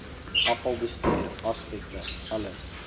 afvalbestuur aspekte alles